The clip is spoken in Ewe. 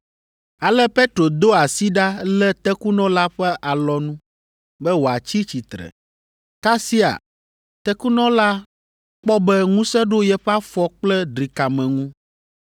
Ale Petro do asi ɖa lé tekunɔ la ƒe alɔnu be wòatsi tsitre. Kasia tekunɔ la kpɔ be ŋusẽ ɖo yeƒe afɔ kple drikame ŋu.